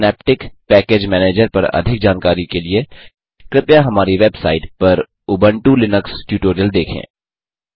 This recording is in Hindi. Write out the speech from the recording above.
सिनैप्टिक पैकेज मैनेजर पर अधिक जानकारी के लिए कृपया हमारी वेबसाइट httpspoken tutorialorg पर उबुंटू लिनक्स ट्यूटोरियल देखें